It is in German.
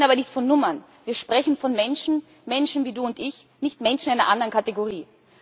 Wir reden aber nicht von Nummern, wir sprechen von Menschen Menschen wie du und ich, nicht Menschen einer anderen Kategorie.